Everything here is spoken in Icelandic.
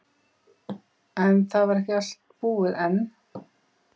En það var ekki allt búið enn.